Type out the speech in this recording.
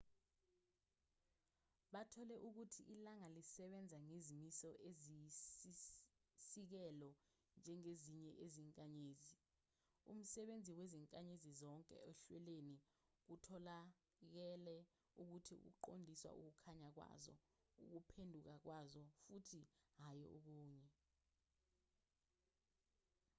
bathole ukuthi ilanga lisebenza ngezimiso eziyisisekelo njengezinye izinkanyezi umsebenzi wezinkanyezi zonke ohlelweni kutholakale ukuthi uqondiswa ukukhanya kwazo ukuphenduka kwazo futhi hhayi okunye